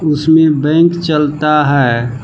उसमें बैंक चलता है।